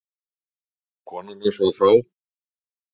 Kona hans var frá